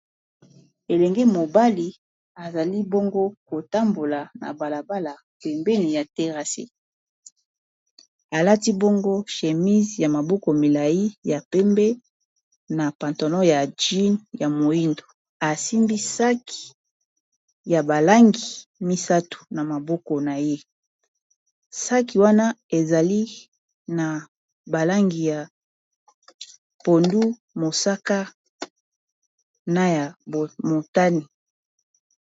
Elenge mobali azali bongo kotambola na balabala pembeni ya terasse alati bongo chémise ya maboko milayi ya pembe na pantalon ya jeans ya moyindo asimbi saki ya balangi misato na maboko na ye. Saki wana ezali na balangi ya pondu, mosaka, na ya motane.